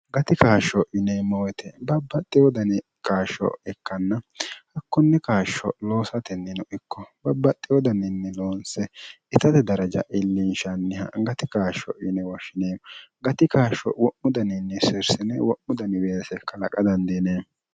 gati kaashsho yineemmowite babbaxxi wodani qaashsho ikkanna hakkunni kaashsho loosatennino ikko babbaxxi wodaniinni loonse itate daraja illinshanniha gati kaashsho yine woshshineemmo gati kaashsho wo'mu daniinni sirsine wo'mu daniweese kalaqa dandiene